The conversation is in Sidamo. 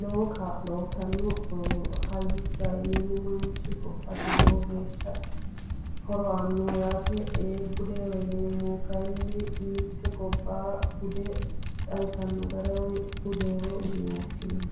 lowo kaa'lo uyittano ,hayyichaho yinneemmo manchi gobbate lowo geeshsha horo aanoho yaate, ee budeho yinnneemmohu kayinni mite gobbaha bude xawisano gara budeho yinne woshshinanni.